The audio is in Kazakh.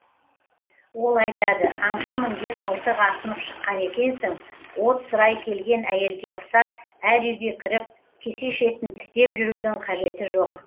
ол айтады аңшымын деп мылтық асынып шыққан екенсің от сұрай келген әйелге ұқсап әр үйге кіріп кесе шетін тістеп жүрудің қажеті жоқ